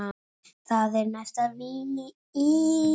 Það er næsta víst!